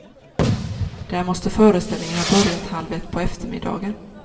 Där måste föreställningen ha börjat halv ett på eftermiddagen.